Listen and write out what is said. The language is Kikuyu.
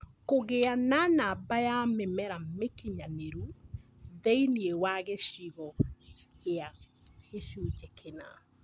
Kũgĩa na namba ya mĩmera mĩkinyanĩru thĩinĩ wa gĩcigo kĩa gĩcunjĩ kĩna